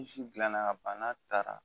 dilanna ka ban n'a taara